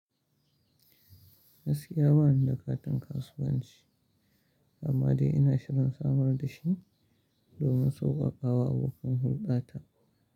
Gaskiya bani da katin kasuwanci, amma dai ina shirin samar da shi domin sauƙaƙawa abokan hulɗa ta.